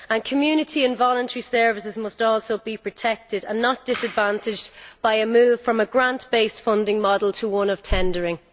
Community and voluntary services must also be protected and not disadvantaged by a move from a grant-based funding model to one of tendering.